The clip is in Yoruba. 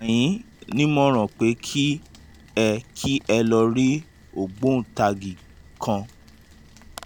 mo gbà yín nímọ̀ràn pé kí ẹ kí ẹ lọ rí ògbóǹtagì kan